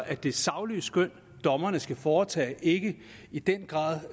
at det saglige skøn dommerne skal foretage ikke i den grad